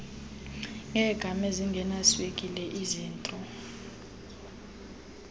ngeegam ezingenaswekile izitro